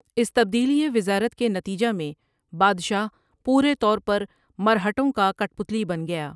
اس تبدیلیٔ وزارت کے نتیجہ میں بادشاہ پورے طور پر مرہٹوں کا کٹ پتلی بن گیا ۔